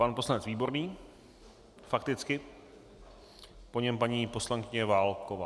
Pan poslanec Výborný fakticky, po něm paní poslankyně Válková.